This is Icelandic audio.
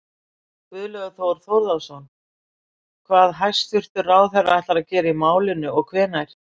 Guðlaugur Þór Þórðarson: Hvað hæstvirtur ráðherra ætlar að gera í málinu og hvenær?